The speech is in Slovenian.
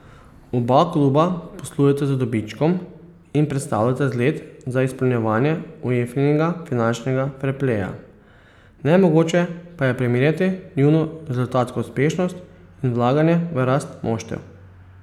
Oba kluba poslujeta z dobičkom in predstavljata zgled za izpolnjevanje Uefinega finančnega ferpleja, nemogoče pa je primerjati njuno rezultatsko uspešnost in vlaganje v rast moštev.